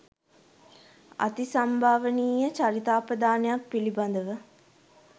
අතිසම්භාවනීය චරිතාපදානයන් පිළිබඳව